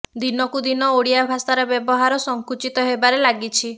ଦିନକୁ ଦିନ ଓଡିଆ ଭାଷାର ବ୍ୟବହାର ସଙ୍କୁଚିତ ହେବାରେ ଲାଗିଛି